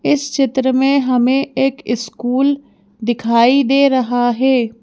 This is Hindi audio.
इस चित्र में हमें एक स्कूल दिखाई दे रहा है।